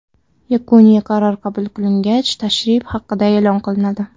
Yakuniy qaror qabul qilingach, tashrif haqida e’lon qilinadi.